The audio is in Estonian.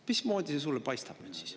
Mismoodi see sulle nüüd siis paistab?